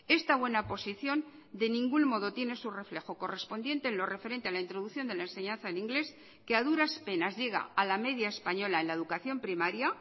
esta buena posición de ningún modo tiene su reflejo correspondiente en lo referente a la introducción de la enseñanza en inglés que a duras penas llega a la media española en la educación primaria